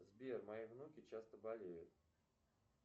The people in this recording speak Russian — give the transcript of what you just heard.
сбер мои внуки часто болеют